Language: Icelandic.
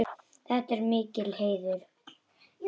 Þetta er mikill heiður.